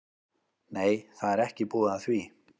Nei, það er ekki búið að því.